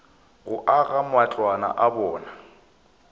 go aga matlwana a bona